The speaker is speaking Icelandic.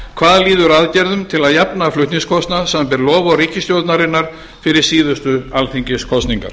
hvað líður aðgerðum til að jafna flutningskostnað samanber loforð ríkisstjórnarinnar fyrir síðustu alþingiskosningar